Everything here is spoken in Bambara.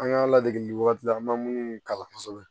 An ka ladegili wagati la an ma minnu kalan kosɛbɛ